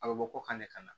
A bɛ bɔ ko kan de ka na